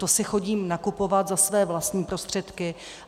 To si chodím nakupovat za své vlastní prostředky.